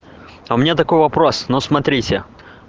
а у меня такой вопрос но смотрите